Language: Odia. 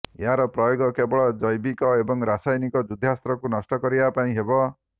ଏହାର ପ୍ରୟୋଗ କେବଳ ଜୈବିକ ଏବଂ ରାସାୟନିକ ଯୁଦ୍ଧାସ୍ତ୍ରକୁ ନଷ୍ଟ କରିବା ପାଇଁ ହେବ